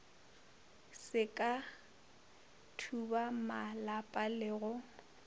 se ka thubamalapa le go